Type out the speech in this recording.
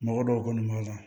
Mɔgɔ dɔw kɔni b'a la